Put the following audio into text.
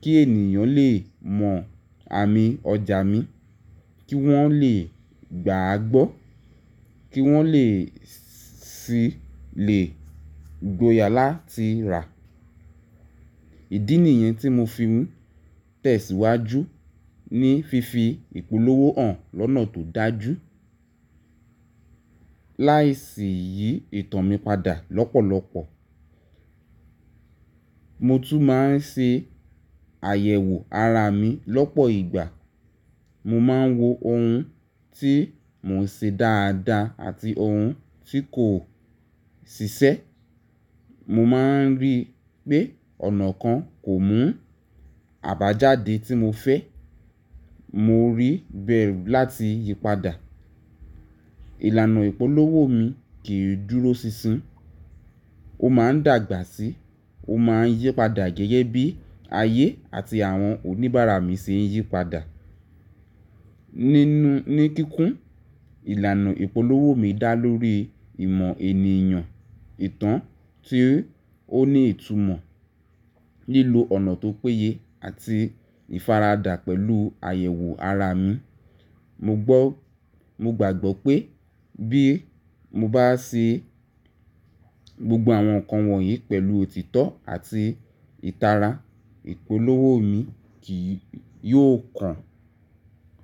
kí ènìyàn lè mọ àmì ọjà mi, kí wọ́n lè gbà á gbọ́, kí wọ́n sì lè gbóyà láti rà á. Ìdí nìyẹn tí mo fi n tẹ̀síwájú ní fífi ìpolówó hàn lọ́nà tó dájú láì sì yí ìtàn mi padà lọ́pọ̀lọpọ̀. Mo tún máa ń ṣe àyẹ̀wò ara mi lọ́pọ̀ ìgbà. Mo máa ń wo ohun tí mò ń ṣe dáadáa àti ohun tí kò ṣiṣẹ́. Mo máa ń rí pé ọ̀nà kan kò mú àbájáde tí mo fẹ́, mo rí bẹ̀rù láti yípadà. Ìlànà ìpolówó mi kì í dúró sísín, ó máa ń dàgbà síi, ó máa ń yípadà gẹ́gẹ́ bí ayé àti àwọn oníbàárà mi ṣe ń yípadà. Nínú kíkún, ìlànà ìpolówó mi dá lórí ìmọ̀ ènìyàn, ìtàn tí ó ní ìtumọ̀, lílo ọ̀nà tó péye àti ìfaradà pẹ̀lú àyẹ̀wò ara mi. Mogbọ́ Mo gbàgbọ́ pé bí mo bá ṣe gbogbo àwọn nǹkan wọ̀nyí pẹ̀lú òtítọ́ àti ìtara, ìpolówó mi kì yóò kàn.